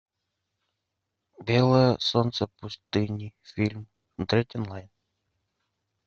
белое солнце пустыни фильм смотреть онлайн